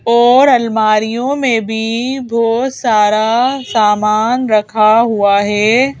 और अलमारीयों में भी बहोत सारा सामान रखा हुआ है।